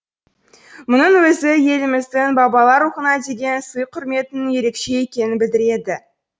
мұның өзі еліміздің бабалар рухына деген сый құрметінің ерекше екенін білдіреді